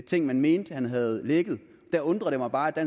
ting man mente han havde lækket der undrer det mig bare at